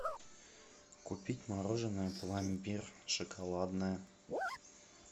купить мороженое пломбир шоколадное